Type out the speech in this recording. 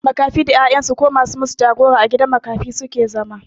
Makafi da 'ya'yan su ko ma su yi masu jagora a gidan makafi su ke zama.